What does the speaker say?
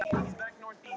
Þessa lykt hefur